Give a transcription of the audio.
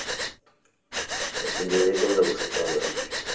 তাহলে বিয়ে করলে বুজতে পারবেন